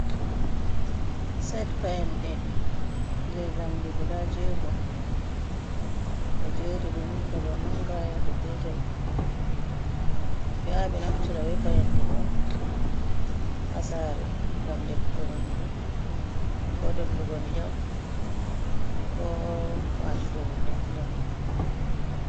Sed payanɗe je jamdi guda jego, ɓe jeri ɗum daga manga, yago petel, be ya ɓe naftira be payende ɗo ha sare, ngam defugo nyamdu, ko dollugo ndiyam, ko watugo hunde ha nder.